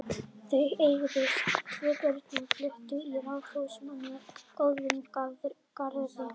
Þau eignuðust tvö börn og fluttu í raðhús með góðum garði.